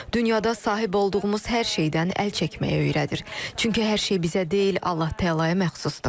Dünyada sahib olduğumuz hər şeydən əl çəkməyi öyrədir, çünki hər şey bizə deyil, Allah Təalaya məxsusdur.